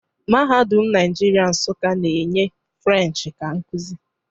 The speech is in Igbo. Mahadum Nigeria Nsukka na-enye Firench ka nkuzi